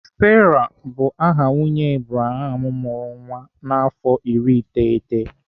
Sarah bụrụ aha nwunye Abraham mụrụ nwa n'afọ iri iteghete